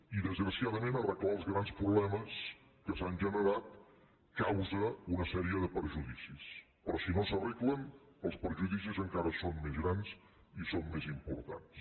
i desgraciadament arreglar els grans problemes que s’han generat causa una sèrie de perjudicis però si no s’arreglen els perjudicis encara són més grans i són més importants